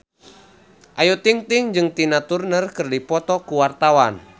Ayu Ting-ting jeung Tina Turner keur dipoto ku wartawan